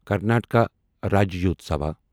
Karnataka Rajyotsava